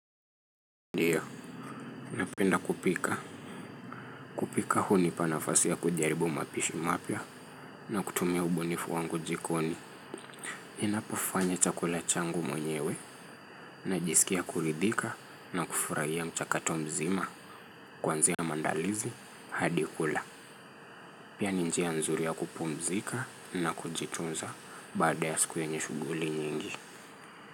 Ndiyo, napenda kupika. Kupika hunipa nafasi ya kujaribu mapishi mapya na kutumia ubunifu wangu jikoni. Inapofanya chakula changu mwenyewe najisikia kuridhika na kufurahia mchakato mzima kwanzia maandalizi hadi kula. Pia ni njia nzuri ya kupumzika na kujitunza baada ya siku yenye shughuli nyingi.